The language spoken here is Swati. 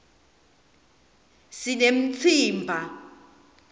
sinemtsimba